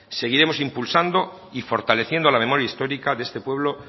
seguiremos impulsando y fortaleciendo la memoria histórica de este pueblo